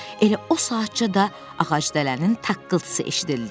Elə o saatca da ağacdələnin taqqıltısı eşidildi.